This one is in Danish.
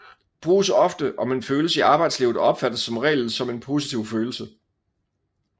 Bruges ofte om en følelse i arbejdslivet og opfattes som regel som en positiv følelse